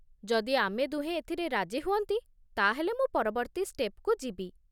ଯଦି ଆମେ ଦୁହେଁ ଏଥିରେ ରାଜି ହୁଅନ୍ତି, ତା'ହେଲେ ମୁଁ ପରବର୍ତ୍ତୀ ଷ୍ଟେପ୍‌କୁ ଯିବି ।